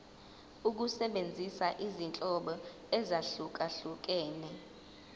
ukusebenzisa izinhlobo ezahlukehlukene